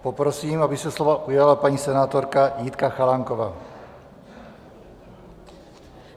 Poprosím, aby se slova ujala paní senátorka Jitka Chalánková.